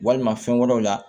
Walima fɛn wɛrɛw la